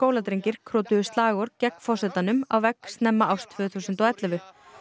skóladrengir krotuðu slagorð gegn forsetanum á vegg snemma árs tvö þúsund og ellefu